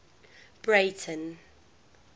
breyten